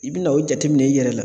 I bi na o jateminɛ i yɛrɛ la.